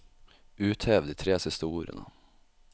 Uthev de tre siste ordene